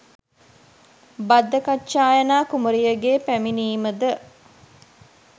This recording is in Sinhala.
භද්දකච්චායනා කුමරියගේ පැමිණීමද